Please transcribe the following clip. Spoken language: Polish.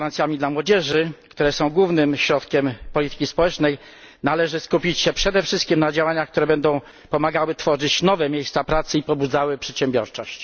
gwarancjami dla młodzieży, które są głównym środkiem polityki społecznej, należy skupić się przede wszystkim na działaniach, które będą pomagały tworzyć nowe miejsca pracy i pobudzały przedsiębiorczość.